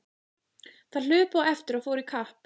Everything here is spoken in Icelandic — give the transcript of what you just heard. Þær hlupu á eftir og fóru í kapp.